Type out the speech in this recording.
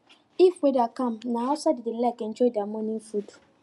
if weather calm na outside dem dey like enjoy their morning food